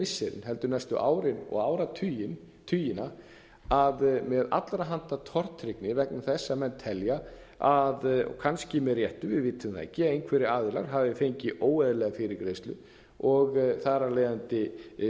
missirin heldur næstu árin og áratugina að með allra handa tortryggni vegna þess að menn telja kannski með réttu við vitum það ekki einhverjir aðilar hafi fengið óeðlilega fyrirgreiðslu og þar af leiðandi